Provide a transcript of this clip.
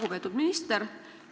Lugupeetud minister!